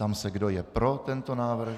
Ptám se, kdo je pro tento návrh.